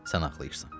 Sən ağlayırsan.